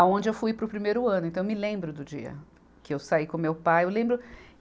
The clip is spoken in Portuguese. Aonde eu fui para o primeiro ano, então eu me lembro do dia que eu saí com meu pai. Eu lembro